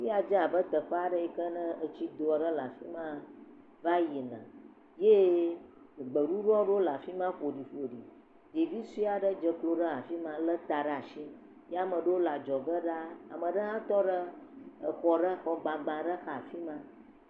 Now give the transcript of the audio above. Afi ya dze abe teƒe aɖe etsido awe le afi ma va yina eye gbɖuɖɔ aɖewo le afi ma ƒoɖi ɖevi sue aɖe dzeklo ɖe afi ma lé ta ɖe asi ye ame aɖewo le adzɔ ge nɔ anyi ɖe xɔ gbagba aɖe xa.